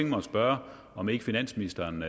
mig at spørge om ikke finansministeren